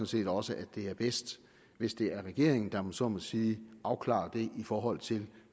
set også at det er bedst hvis det er regeringen der om jeg så må sige afklarer det i forhold til